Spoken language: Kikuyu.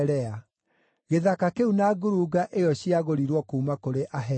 Gĩthaka kĩu na ngurunga ĩyo ciagũrirwo kuuma kũrĩ Ahethi.”